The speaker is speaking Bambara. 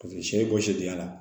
Paseke sɛ ye bɔ si dingɛ la